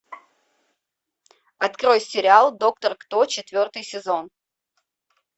открой сериал доктор кто четвертый сезон